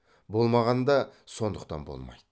болмағанда сондықтан болмайды